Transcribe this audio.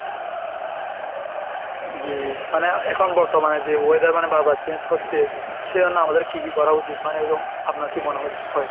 জি মানে এখন বর্তমানে যে weather মানে বারবার change করছে সেজন্য আমাদের কি কি করা উচিত মানে এরকম আপনার কি মনে হচ্ছে~ হয়?